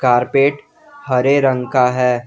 Carpet हरे रंग का है।